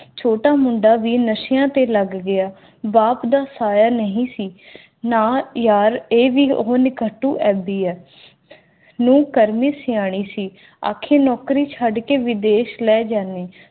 ਛੋਟਾ ਮੁੰਡਾ ਵੀ ਨਸ਼ਿਆਂ ਤੇ ਲੱਗ ਗਿਆ ਬਾਪ ਦਾ ਸਹਾਰਾ ਨਹੀਂ ਸੀ ਨਾ ਯਾਰ ਇਹ ਵੀ ਉਹ ਲਿਖਦੀ ਹੈ ਨੂੰ ਕਰਨੀ ਸਿਆਣੇ ਸੀ ਅਤੇ ਨੌਕਰੀ ਛੱਡ ਕੇ ਵਿਦੇਸ਼ ਲੈ ਗਹਿਣੇ